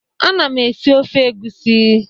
Ana m esi ofe egusi.